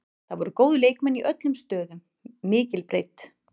Það voru góðir leikmenn í öllum stöðum, mikil breidd.